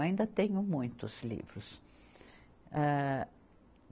Ainda tenho muitos livros. Âh